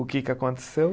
O que que aconteceu?